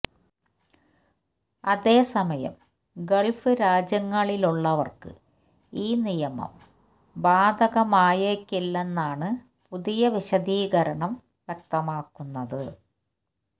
അതേസമയം ഗള്ഫ് രാജ്യങ്ങളിലുള്ളവര്ക്ക് ഈ നിയമം ബാധകമായേക്കില്ലെന്നാണ് പുതിയ വിശദീകരണം വ്യക്തമാക്കുന്നത്